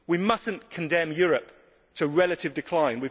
We must not condemn Europe to relative decline.